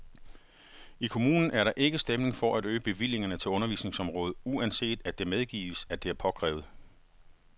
I kommunen er der ikke stemning for at øge bevillingerne til undervisningsområdet, uanset at det medgives, at det er påkrævet.